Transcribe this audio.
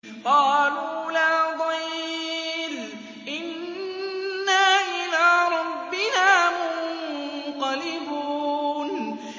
قَالُوا لَا ضَيْرَ ۖ إِنَّا إِلَىٰ رَبِّنَا مُنقَلِبُونَ